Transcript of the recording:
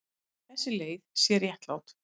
Þessi leið sé réttlát.